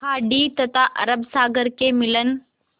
खाड़ी तथा अरब सागर के मिलन